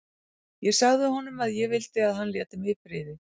Ég sagði honum að ég vildi að hann léti mig í friði.